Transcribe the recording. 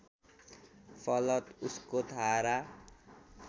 फलतः उसको धारा